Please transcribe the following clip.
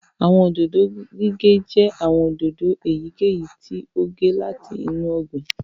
Àwọn òdòdó gígé jẹ́ àwọn òdòdó èyíkèyí tí ó gé láti inú ọgbìn